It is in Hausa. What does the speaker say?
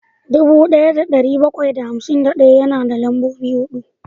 dubu daya da dari bakwai da hamsin daya yana da lambobi hudu